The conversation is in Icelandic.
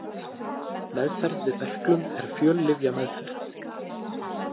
Meðferð við berklum er fjöllyfjameðferð.